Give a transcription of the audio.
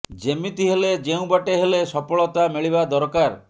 ଯେମିତି ହେଲେ ଯେଉଁ ବାଟେ ହେଲେ ସଫଳତା ମିଳିବା ଦରକାର